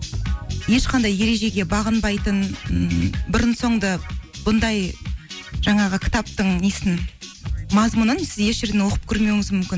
ешқандай ережеге бағынбайтын ммм бұрын соңды бұндай жаңағы кітаптың несін мазмұнын сіз еш жерден оқып көрмеуіңіз мүмкін